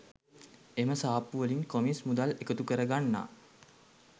එම සාප්පුවලින් කොමිස් මුදල් එකතු කරගන්නා